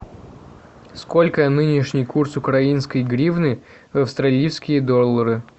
сколько нынешний курс украинской гривны в австралийские доллары